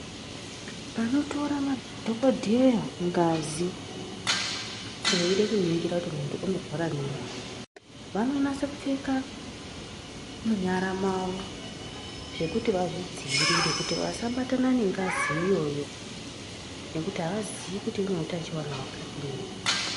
Panotorwa madhokodheya ngazi veida kuningira kuti unorwara nei vanonyasa kupfeka munyara mawo zvekuti vazvidzivirire kuti vasabatana ngengazi iyoyo nekuti havazii kuti ine hutachiona wakadini.